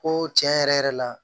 Ko tiɲɛ yɛrɛ yɛrɛ la